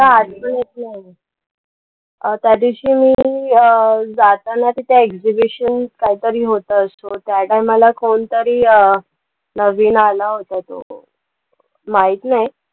काय आठवत येत नाही. त्या दिवशी मी अं जाताना त्या exibition काहीतरी होतं, त्या time ला कोणीतरी नवीन आला होता तो. माहित नाही.